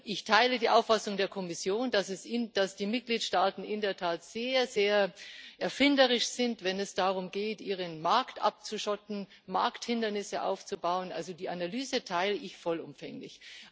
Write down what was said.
Ich teile die Auffassung der Kommission, dass die Mitgliedstaaten in der Tat sehr erfinderisch sind, wenn es darum geht, ihren Markt abzuschotten, Markthindernisse aufzubauen die Analyse teile ich vollumfänglich.